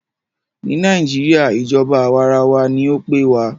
Ní nàìjíría, ìjọba àwàrawa ní o pé wa.